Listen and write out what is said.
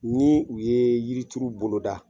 Ni u ye yirituru bolo da.